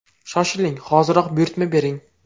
Shoshiling, hoziroq buyurtma bering!